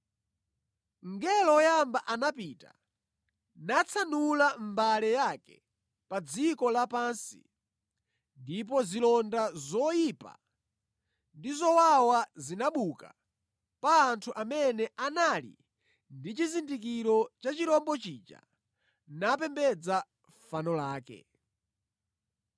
Mngelo woyamba anapita natsanula mbale yake pa dziko lapansi ndipo zilonda zoyipa ndi zowawa zinabuka pa anthu amene anali ndi chizindikiro cha chirombo chija, napembedza fano lake.